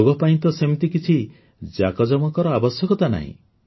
ଯୋଗ ପାଇଁ ତ ସେମିତି କିଛି ଜାକଯମକର ଆବଶ୍ୟକତା ନାହିଁ